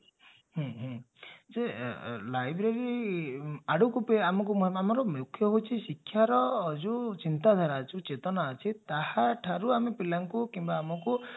ହଁ ହଁ ଯେ library ଆଡ଼କୁ ଆମକୁ ଆମର ମୁଖ୍ୟ ହଉଛି ଶିକ୍ଷାର ଯାଉ ଚିନ୍ତାଧାରା ଯାଉ ଚେତନା ଅଛି ତାହାଠାରୁ ଆମେ ପିଲାଙ୍କୁ କିମ୍ବା ଆମକୁ